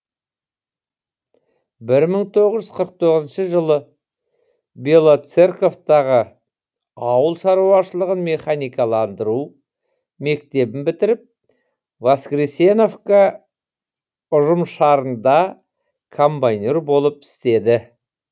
бір мың тоғыз жүз қырық тоғызыншы жылы белоцерковтағы ауыл шаруашылығын механикаландыру мектебін бітіріп воскресеновка ұжымшарында комбайнер болып істеді